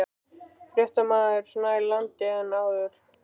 Fréttamaður: Nær landi en áður?